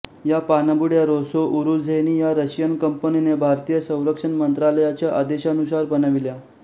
या पाणबुड्या रोसोवूरुझेनी या रशियन कंपनीने भारतीय संरक्षण मंत्रालयाच्या आदेशानुसार बनविल्या